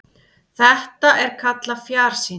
Þetta er kallað fjarsýni.